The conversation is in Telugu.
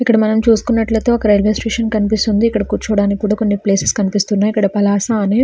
ఇక్కడ మనం చూసినట్ట అయితే ఇక్కడ రైల్వే స్టేషన్ కనిపిస్తొంది. కొన్ని కొన్ని ప్లేస్కనిపిస్తున్నానా ఒక పలాస అనే --